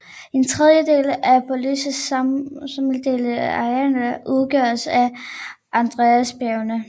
En tredjedel af Bolivias samlede areal udgøres af Andesbjergene